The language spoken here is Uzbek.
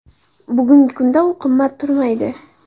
Bugungi kunda u qimmat turmaydi.